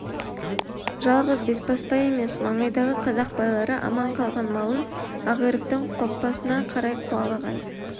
жалғыз бесбасбай емес маңайдағы қазақ байлары аман калған малын ақиректің қопасына қарай қуалаған